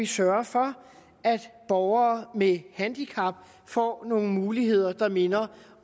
sørge for at borgere med handicap får nogle muligheder der minder